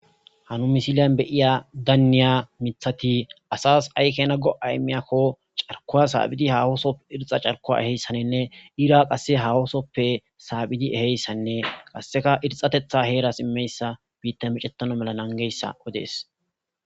Ha misiliyan beyiya daaniya mithati asas aykena go'a imiyakko carkuwa saabhidi hahoosop irxa carkuwa eheyssaninne ira qasse hawoosoppe saabhidi eheyssanne qasseka irxatetha heeras immeyssa biitta micettano mela nangeyssa odees